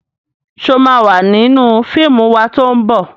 Ṣo ma wà nínú fíìmù wa tó ń bọ̀?